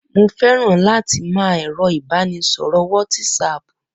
Mo féràn láti máa ẹ̀rọ ìbánisọ̀rọ̀ wọtísaàpù